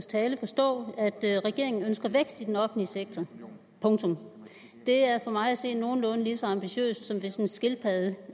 tale forstå at regeringen ønsker vækst i den offentlige sektor punktum det er for mig at se nogenlunde lige så ambitiøst som hvis en skildpadde